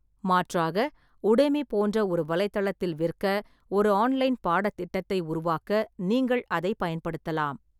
மாற்றாக, உடெமி போன்ற ஒரு வலைத்தளத்தில் விற்க ஒரு ஆன்லைன் பாடத்திட்டத்தை உருவாக்க நீங்கள் அதைப் பயன்படுத்தலாம்.